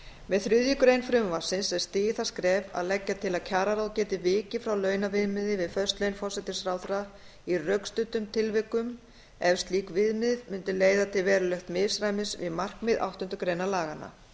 með þriðju greinar frumvarpsins er stigið það skref að leggja til að kjararáð geti vikið frá launaviðmiði við föst laun forsætisráðherra í rökstuddum tilvikum ef slík viðmiðun mundi leiða til verulegs misræmis við markmið áttundu grein laganna